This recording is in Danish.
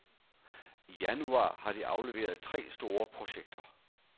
I januar har de afleveret tre store projekter.